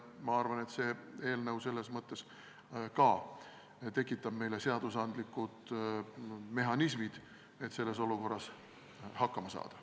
Ma arvan, et see eelnõu tekitab meile seadusandlikud mehhanismid, et selles olukorras hakkama saada.